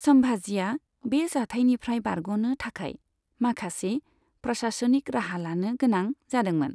सम्भाजीआ बे जाथायनिफ्राय बारग'नो थाखाय माखासे प्रशासनिक राहा लानो गोनां जादोंमोन।